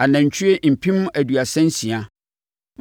anantwie mpem aduasa nsia (36,000),